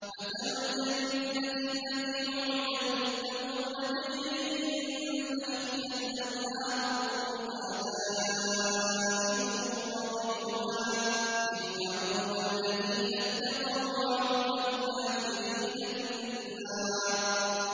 ۞ مَّثَلُ الْجَنَّةِ الَّتِي وُعِدَ الْمُتَّقُونَ ۖ تَجْرِي مِن تَحْتِهَا الْأَنْهَارُ ۖ أُكُلُهَا دَائِمٌ وَظِلُّهَا ۚ تِلْكَ عُقْبَى الَّذِينَ اتَّقَوا ۖ وَّعُقْبَى الْكَافِرِينَ النَّارُ